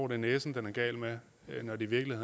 er næsen det er galt med når det virkelig